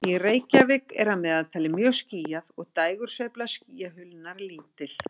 Í Reykjavík er að meðaltali mjög skýjað og dægursveifla skýjahulunnar er lítil.